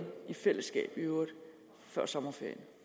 fra to